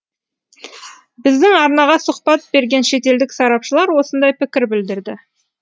біздің арнаға сұхбат берген шетелдік сарапшылар осындай пікір білдірді